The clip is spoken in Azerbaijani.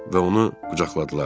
Və onu qucaqladılar.